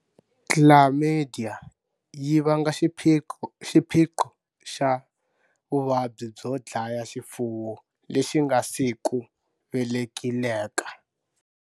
Chlamydia yi vanga xiphiqo xa Vuvabyi byo dlaya xifuwo lexi nga si ku velekileka.